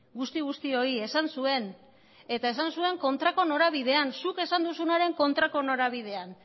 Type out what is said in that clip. guzti guztioi esan zuen eta esan zuen kontrako norabidean zuk esan duzunaren kontrako norabidean